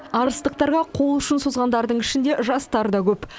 арыстықтарға қол ұшын созғандардың ішінде жастар да көп